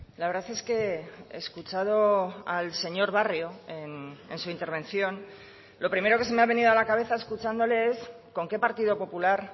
la verdad es que escuchado al señor barrio en su intervención lo primero que se me ha venido a la cabeza escuchándole es con qué partido popular